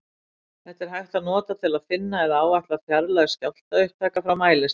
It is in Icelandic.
Þetta er hægt að nota til að finna eða áætla fjarlægð skjálftaupptaka frá mælistað.